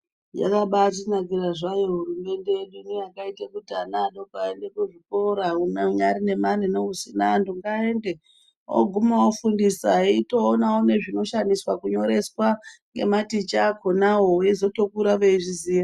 Yakabatinakira zvayo hurumende toita kuti vana vadoko vaende kuzvikora anyari nemare neasina ngaende oguma ofundisa eitoona nezvinoshandiswa kurovesa nematicha akonawo veizotokura veizviziva.